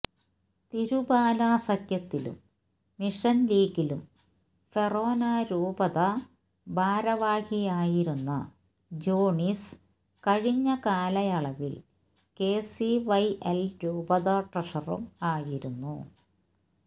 തിരുബാല സഖ്യത്തിലും മിഷൻ ലീഗിലും ഫെറോന രൂപതാ ഭാരവാഹിയായിരുന്ന ജോണിസ് കഴിഞ്ഞ കാലയളവിൽ കെസിവൈഎൽ രൂപത ട്രഷററും ആയിരുന്നു